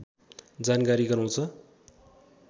जानकारी गराउँछ